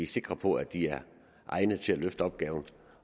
sikre på at de er egnede til at løfte opgaven